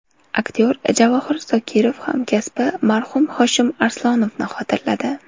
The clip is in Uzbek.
Aktyor Javohir Zokirov hamkasbi marhum Hoshim Arslonovni xotirladi.